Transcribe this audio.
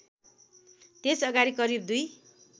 त्यसअगाडि करिब दुई